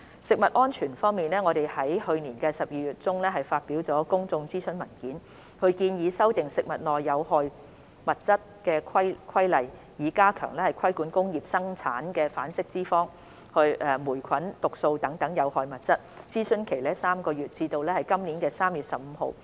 食物安全方面，我們於去年12月中發表了公眾諮詢文件，建議修訂《食物內有害物質規例》，以加強規管工業生產的反式脂肪、霉菌毒素等有害物質，諮詢為期3個月，至今年3月15日止。